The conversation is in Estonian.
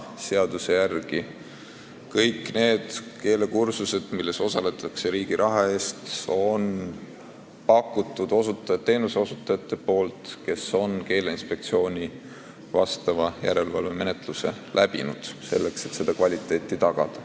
Seaduse järgi pakuvad täna kõiki neid keelekursuseid, milles osaletakse riigi raha eest, teenuseosutajad, kes on läbinud Keeleinspektsiooni järelevalvemenetluse, selleks et tagada kvaliteeti.